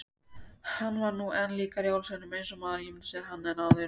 Hann var nú enn líkari jólasveininum—eins og maður ímyndaði sér hann—en áður.